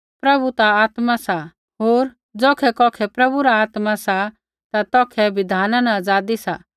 प्रभु ता आत्मा सा होर ज़ौखै कौखै प्रभु रा आत्मा सा ता तौखै बिधाना न आज़ादी सा